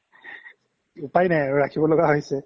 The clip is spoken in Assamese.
উপাই নাই আৰু ৰাখিব লোগিয়া হৈছে